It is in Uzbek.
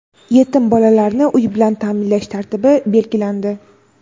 Yetim bolalarni uy bilan ta’minlash tartibi belgilandi.